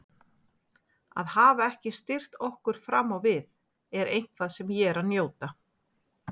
Að hafa ekki styrkt okkur fram á við er eitthvað sem ég er að njóta.